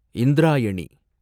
Indrayani